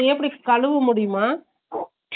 அதுஎப்படி கழுவ முடியுமா Noise